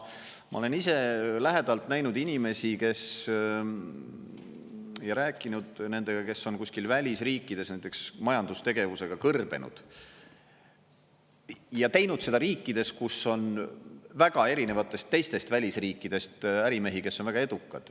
Ma olen ise lähedalt näinud inimesi ja rääkinud nendega, kes on kuskil välisriikides näiteks majandustegevusega kõrbenud, ja teinud seda riikides, kus on väga erinevatest teistest välisriikidest ärimehi, kes on väga edukad.